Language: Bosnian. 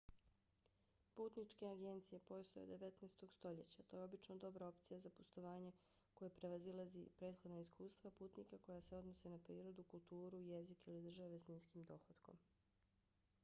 putničke agencije postoje od 19. stoljeća. to je obično dobra opcija za putovanje koje prevazilazi prethodna iskustva putnika koja se odnose na prirodu kulturu jezik ili države s niskim dohotkom